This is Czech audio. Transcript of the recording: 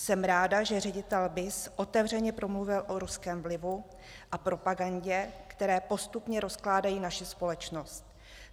Jsem ráda, že ředitel BIS otevřeně promluvil o ruském vlivu a propagandě, které postupně rozkládají naši společnost.